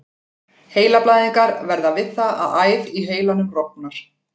Heilablæðingar verða við það að æð í heilanum rofnar.